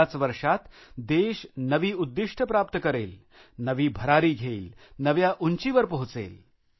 याच वर्षात देश नवी उदिष्ट प्राप्त करेल नवी भरारी घेईल नव्या उंचीवर पोहोचेल